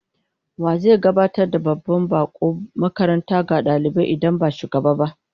Wa zai gabatar da babban bakon makaranta ga dalibai idan ba shugaba?